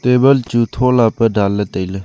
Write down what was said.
table chu thola pe danley tailey.